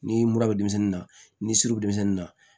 Ni mura bɛ denmisɛnnin na ni surun bɛ denmisɛnnin na